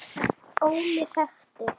Óli þekkti.